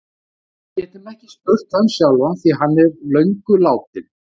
Við getum ekki spurt hann sjálfan því hann er löngu látinn.